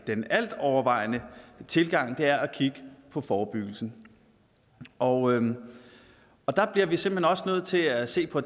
den altovervejende tilgang er at kigge på forebyggelsen og der bliver vi simpelt hen også nødt til at se på